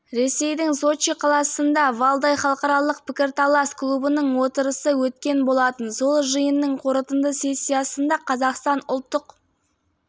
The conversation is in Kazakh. ресейдің сочи қаласында валдай халықаралық пікірталас клубының отырысы өткен болатын сол жиынның қорытынды сессиясында қазақстан ұлттық